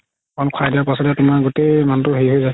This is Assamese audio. অলপ খাই দিয়াৰ পাছতে তুমাৰ গুতেই মানুহতোৰ তুমাৰ হেৰি হয় যাই